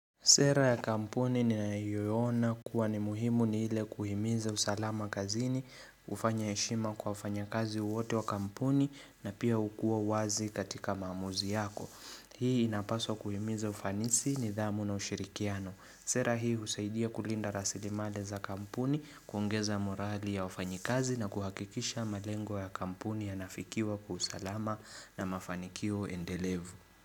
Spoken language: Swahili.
Sera ya kampuni ninayoiona kuwa ni muhimu ni ile kuhimiza usalama kazini, kufanya heshima kwa wafanyakazi wote wa kampuni na pia hukua wazi katika maamuzi yako. Hii inapaswa kuhimiza ufanisi, nidhamu na ushirikiano. Sera hii husaidia kulinda rasilimali za kampuni, kuongeza morali ya wafanyikazi na kuhakikisha malengo ya kampuni yanafikiwa kwa usalama na mafanikio endelevu.